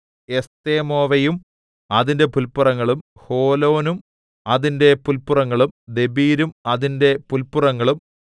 എസ്തെമോവയും അതിന്റെ പുല്പുറങ്ങളും ഹോലോനും അതിന്റെ പുല്പുറങ്ങളും ദെബീരും അതിന്റെ പുല്പുറങ്ങളും